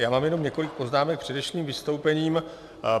Já mám jenom několik poznámek k předešlým vystoupením.